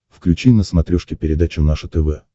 включи на смотрешке передачу наше тв